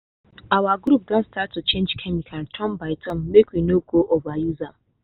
our group don start to change chemical turn by turn make we no go overuse one.